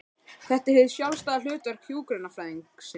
Þetta er hið sjálfstæða hlutverk hjúkrunarfræðingsins.